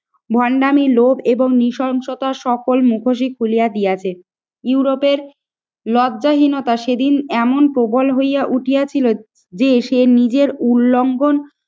ভন্ডামি লোভ এবং নৃশংসতা সকল মুখোশই খুলিয়া দিয়াছে। ইউরোপের লব্ধহীনতা সেদিন এমন প্রবল হইয়া উঠিয়াছিল যে সে নিজের উলঙ্ঘন